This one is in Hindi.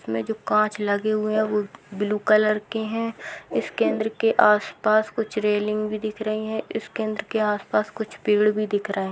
इसमें जो कांच लगे हुए है वो ब्लू कलर के है इस केंद्र के आसपास कुछ रेलिंग भी दिख रही है इस केंद्र के आसपास कुछ पेड़ भी दिख रहे।